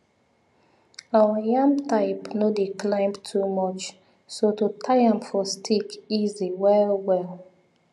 our yam type no dey climb too much so to tie am for stick easy wellwell